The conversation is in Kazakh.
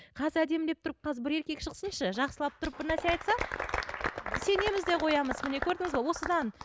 қазір әдемілеп тұрып қазір бір еркек шықсыншы жақсылап тұрып бір нәрсе айтса сенеміз де қоямыз міне көрдіңіз бе осыдан